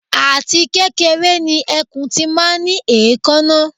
Àti kékeré ni ẹkùn ti máa ń ní èékáná